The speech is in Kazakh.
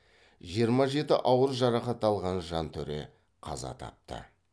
жиырма жеті ауыр жарақат алған жантөре қаза тапты